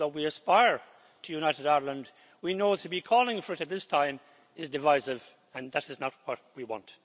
Even though we aspire to a united Ireland, we know that to be calling for it at this time is divisive and that is not what we want.